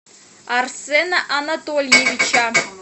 арсена анатольевича